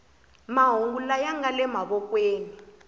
mahungu laya nga le mavokweni